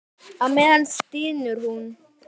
Á meðan stynur hún.